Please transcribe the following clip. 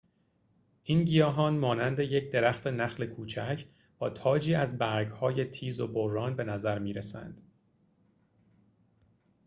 این گیاهان مانند یک درخت نخل کوچک با تاجی از برگهای تیز وبران به نظر می رسند